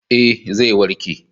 Ee, zai warke.